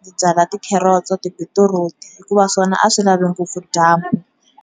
ni byala tikhelotsi, tibitiruti, hikuva swona a swi lavi ngopfu dyambu.